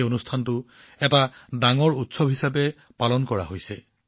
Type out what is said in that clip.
এই অনুষ্ঠানটো এটা ডাঙৰ উৎসৱ হিচাপে পালন কৰা হৈছে